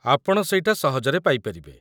ଆପଣ ସେଇଟା ସହଜରେ ପାଇପାରିବେ ।